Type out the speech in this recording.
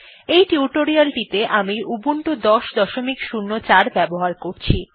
আমি এই টিউটোরিয়ালটিতে উবুন্টু ১০০৪ ব্যবহার করছি